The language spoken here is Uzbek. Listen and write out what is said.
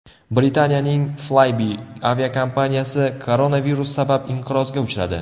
Britaniyaning Flybe aviakompaniyasi koronavirus sabab inqirozga uchradi.